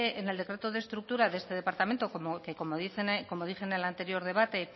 en el decreto de estructura de este departamento que como dije en el anterior debate